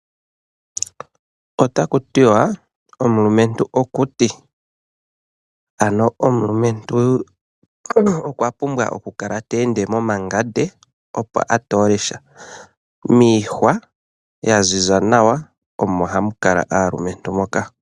Otaku tiwa omulumentu okuti. Ano omulumentu okwa pumbwa okukala teende momangande opo atoole sha. Miihwa ya ziza nawa omo hamu kala aalumentu moka.